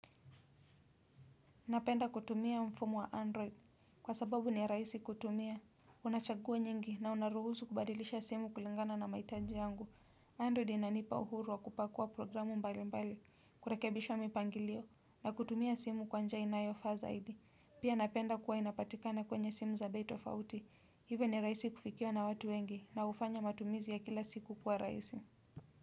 Napenda kutumia mfumo wa android. Kwa sababu ni raisi kutumia. Unachaguo nyingi na unaruhusu kubadilisha simu kulingana na maitaji yangu. Android inanipa uhuru wa kupakua programu mbali mbali, kurekebishwa mipangilio. Na kutumia simu kwanjia inayo faa zaidi. Pia napenda kuwa inapatikana kwenye simu za bei tofauti. Hivyo ni raisi kufikia na watu wengi na ufanya matumizi ya kila siku kuwa raisi.